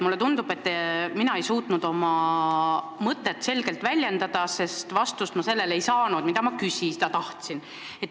Mulle tundub, et ma ei suutnud oma mõtet selgelt väljendada, sest ma ei saanud vastust sellele, mida ma teada tahtsin.